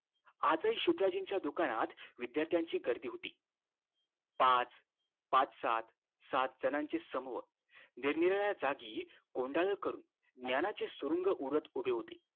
आज हि शुक्लाजींच्या दुकानात विध्यार्थी ची गर्दी होती पाच पाच सात सात जणांचे समूह निरनिराळया जागी कोंडाळं करून ज्ञान च सुरुंग उडत उभे होते